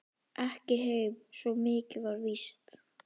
Ekki heim, svo mikið var víst.